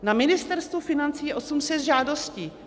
Na Ministerstvu financí je 800 žádostí.